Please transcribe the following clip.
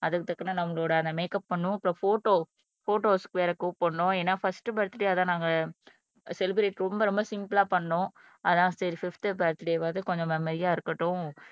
அதுக்கு தக்கன நம்மளோட அந்த மேக்கப் பண்ணும் அப்புறம் போட்டோ போட்டோஸ்க்கு வேற கூப்பிடணும் ஏன்னா பர்ஸ்ட் பர்த்டே அதான் நாங்க செலிப்ரட் ரொம்ப ரொம்ப சிம்பிள்ளா பண்ணோம் அதான் சரி பிப்த் பர்த்டே வாவது கொஞ்சம் மெமரியா இருக்கட்டும்